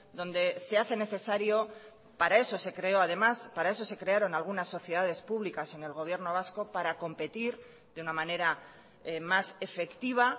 donde se hace necesario para eso se creó además para eso se crearon algunas sociedades públicas en el gobierno vasco para competir de una manera más efectiva